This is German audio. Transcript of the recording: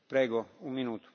Herr Präsident!